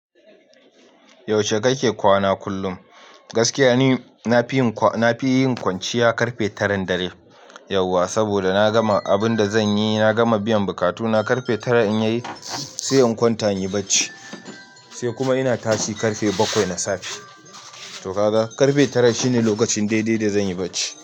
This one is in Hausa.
Yaushe kake kwana kullum. Gaskiya ni na fi yin kwanciya karfe taran dare yauwa. Saboda na gama abun da zanyi, na gama biyan bukatuna. Karfe tara in yayi sai in kwanta in yi barci. Sai kuma ina tashi karfe bakwai na safe. To ka ga, karfe tara shine lokacin daidai da zan yi bacci.